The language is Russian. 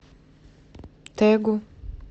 тэгу